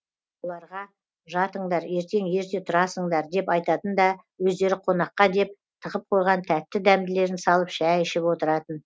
бұларға жатыңдар ертең ерте тұрасыңдар деп айтатын да өздері қонаққа деп тығып қойған тәтті дәмділерін салып шәй ішіп отыратын